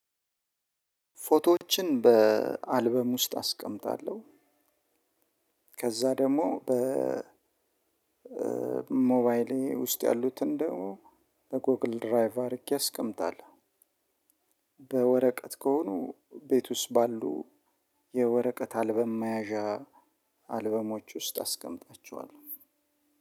ፎቶዎችን በአልበም ውስጥ አስቀምጣለሁ። ከዛ ደግሞ በ ሞባይሌ ውስጥ ያሉትን ደግሞ በጎግል ድራይቭ አድርጌ አስቀምጣለሁ። በወረቀት ከሆኑ ቤት ውስጥ ባሉ የወረቀት አልበም መያዛ አልበሞች ውስጥ አስቀምጣቸዋለው።